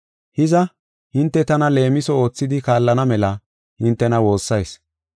Hiza, hinte tana leemiso oothidi kaallana mela hintena woossayis.